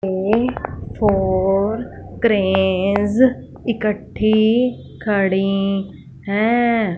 ये four cranes इकट्ठी खड़ीं हैं।